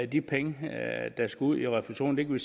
de penge der skal ud i refusionssystemet